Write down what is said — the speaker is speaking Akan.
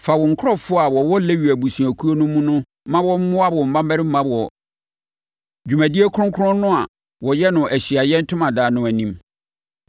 Fa wo nkurɔfoɔ a wɔwɔ Lewi abusuakuo no mu ma wɔmmoa wo mmammarima wɔ dwumadie kronkron no a wɔyɛ no Ahyiaeɛ Ntomadan no anim.